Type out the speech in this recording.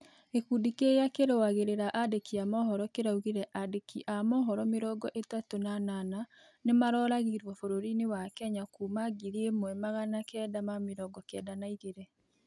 Gĩkũndĩ kĩrĩa kĩrũagĩrĩra andĩki a mohoro kĩraũgĩre andĩki a mohoro mĩrongo ĩtatũ na anana nĩmaroragĩrwo bũrũri- ĩni wa Kenya kuma 1992